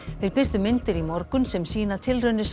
þeir birtu myndir í morgun sem sýna tilraunir